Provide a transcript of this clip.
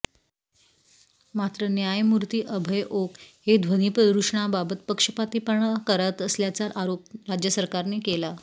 मात्र न्यायमूर्ती अभय ओक हे ध्वनी प्रदूषणाबाबत पक्षपातीपणा करत असल्याचा आरोप राज्य सरकारने केला